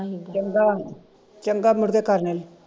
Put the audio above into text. ਚੰਗਾ ਚੰਗਾ ਮੁੜਕੇ ਕਰਨੇ